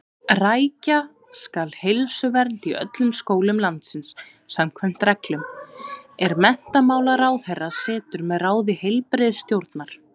Rækja skal heilsuvernd í öllum skólum landsins samkvæmt reglum, er menntamálaráðherra setur með ráði heilbrigðisstjórnar.